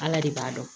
Ala de b'a dɔn